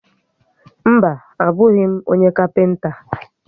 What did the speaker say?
Mba, a bụghị m onye kapịnta